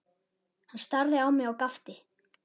Hann starði á mig og gapti.